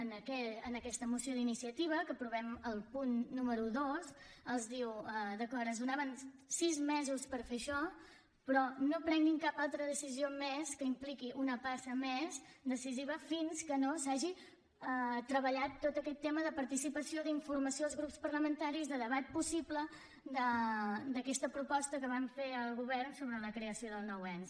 en aquesta moció d’iniciativa en què aprovem el punt número dos es diu d’acord es donaven sis mesos per fer això però no prenguin cap altra decisió més que impliqui una passa més decisiva fins que no s’hagi treballat tot aquest tema de participació d’informació als grups parlamentaris de debat possible d’aquesta proposta que van fer al govern sobre la creació del nou ens